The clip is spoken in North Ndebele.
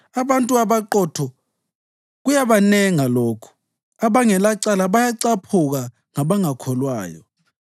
Abantu abaqotho kuyabanenga lokhu; abangelacala bayacaphuka ngabangakholwayo.